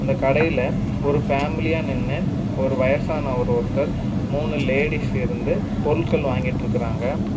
இந்தக் கடையில ஒரு ஃபேமிலியா நின்னு ஒரு வயசானவரு ஒருத்தர் மூணு லேடிஸ் இருந்து பொருட்கள் வாங்கிட்டு இருக்காங்க.